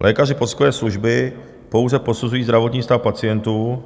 Lékaři posudkové služby pouze posuzují zdravotní stav pacientů,